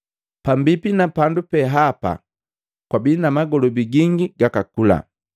Pambipi na pandu pehapa kwabii na magolobi gingi gakakula.